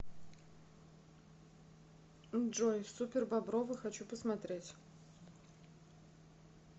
джой супербобровы хочу посмотреть